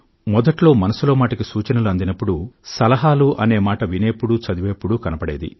మొదట్లో మనసులో మాట కి సూచనలు అందినప్పుడు సలహాలు అనే మాట వినేటప్పుడు చదివేటప్పుడు కనబడేది